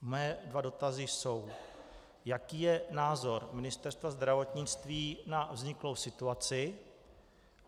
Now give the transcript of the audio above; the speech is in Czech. Mé dva dotazy jsou: Jaký je názor Ministerstva zdravotnictví na vzniklou situaci?